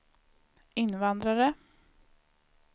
invandrare